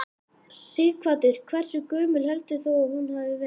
Sighvatur: Hversu gömul heldur þú að hún hafi verið?